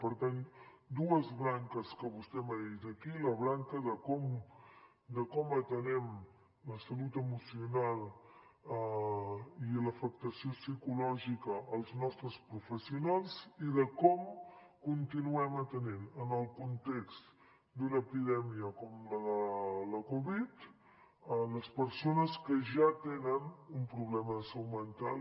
per tant dues branques que vostè m’ha dit d’aquí la branca de com atenem la salut emocional i l’afectació psicològica als nostres professionals i de com continuem atenent en el context d’una epidèmia com la de covid les persones que ja tenen un problema de salut mental